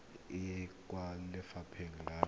e ya kwa lefapha la